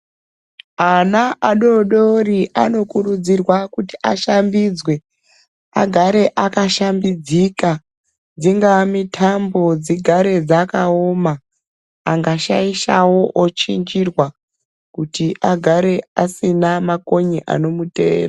Ana adodori anokurudzirwa kuti ashambidzwe agare akashambidzika, dzingave mitambo dzigare dzakaoma angashaishawo ochinjirwa kuti agare asina makonye anomuteera.